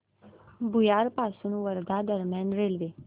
भुयार पासून वर्धा दरम्यान रेल्वे